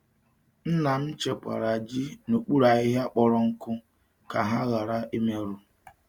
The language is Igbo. Nna m chekwara ji n’okpuru ahịhịa kpọrọ nkụ ka ha ghara imerụ.